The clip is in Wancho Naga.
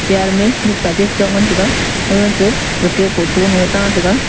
chair me mihpa chai chong ngan tega ga che gake photo lung ta tega.